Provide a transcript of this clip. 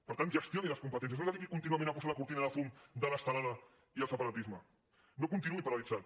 per tant gestioni les competències no es dediqui contínuament a posar la cortina de fum de l’estelada i el separatisme no continuï paralitzat